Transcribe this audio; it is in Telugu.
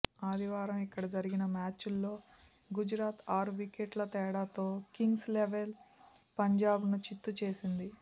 ఆదివారం ఇక్కడ జరిగిన మ్యాచ్లో గుజరాత్ ఆరు వికెట్ల తేడాతో కింగ్స్ లెవన్ పంజాబ్ను చిత్తు చేసింది